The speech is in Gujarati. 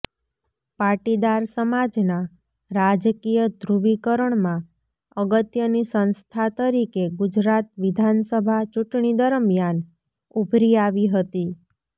પાટીદાર સમાજના રાજકીય ધ્રુવીકરણમાં અગત્યની સંસ્થા તરીકે ગુજરાત વિધાનસભા ચૂંટણી દરમિયાન ઊભરી આવી હતી